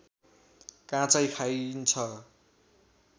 काँचै खाइन्छ